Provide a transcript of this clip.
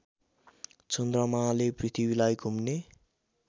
चन्द्रमाले पृथ्वीलाई घुम्ने